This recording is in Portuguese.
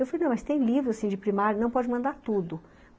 Eu falei, não, mas tem livro, assim, de primário, não pode mandar tudo.